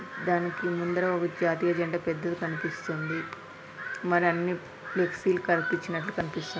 దానికి ముందర ఒక జాతీయ జెండా పెద్దది కనిపిస్తుంది. మరన్ని ఫ్లెక్సీ లు కనిపించినట్లు --కనిపిస్తు--